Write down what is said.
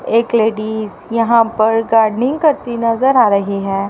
एक लेडिस यहां पर गार्डनिंग करती नजर आ रही है।